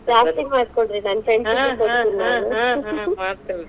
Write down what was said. ಜಾಸ್ತಿ ಮಾಡ್ಕೋಡ್ರಿ ನಾನ್ .